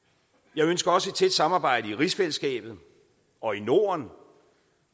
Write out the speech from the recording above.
jeg ønsker også et tæt samarbejde i rigsfællesskabet og i norden